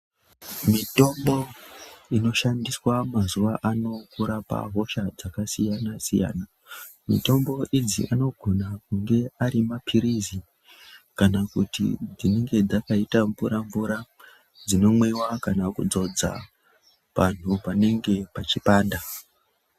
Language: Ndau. Mitombo inoshandiswa mazuwaano kurapa hosha dzakasiyana-siyana. Mitombo idzi anogona kunge arimaphirizi kana kuti dzinenge dzakaita mvura dzinomwiwa kana kudzodza panhu panenge pachipanda.